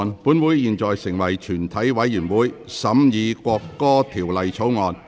本會現在成為全體委員會，審議《國歌條例草案》。